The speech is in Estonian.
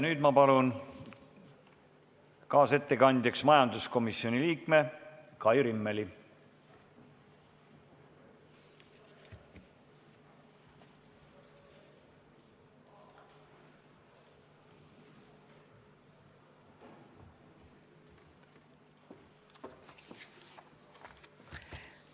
Nüüd ma palun kaasettekandjaks majanduskomisjoni liikme Kai Rimmeli!